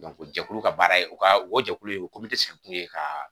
jɛkulu ka baara ye o ka o jɛkulu ye o sigi kun ye ka